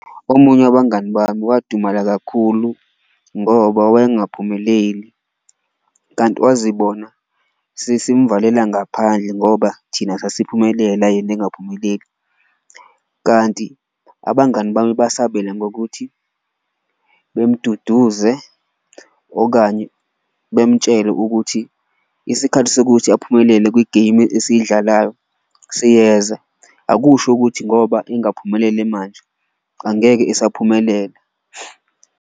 Omunye wabangani bami wadumala kakhulu ngoba wayengaphumeleli, kanti wazibona sesimvalela ngaphandle ngoba thina sasiphumelela yena angaphumeleli. Kanti abangani bami basabela ngokuthi bemduduze okanye bemtshele ukuthi isikhathi sokuthi aphumelele kwi-game esiyidlalayo siyeza, akusho ukuthi ngoba engaphumelele manje angeke esaphumelela.